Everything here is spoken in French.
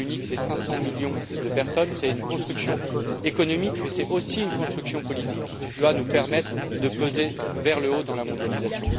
Le marché unique, c'est 500 millions de personnes, c'est une construction économique, mais c'est aussi une construction politique qui doit nous permettre de peser vers le haut dans la mondialisation.